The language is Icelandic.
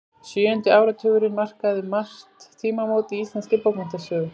Sjöundi áratugurinn markaði um margt tímamót í íslenskri bókmenntasögu.